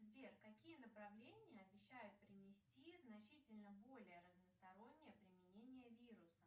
сбер какие направления обещают принести значительно более разностороннее применение вируса